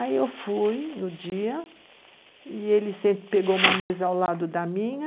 Aí eu fui no dia e ele pegou uma mesa ao lado da minha,